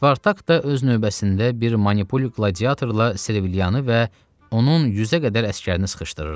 Spartak da öz növbəsində bir manipul qladiatorla Servilianı və onun 100-ə qədər əsgərini sıxışdırırdı.